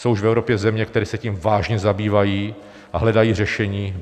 Jsou už v Evropě země, které se tím vážně zabývají a hledají řešení.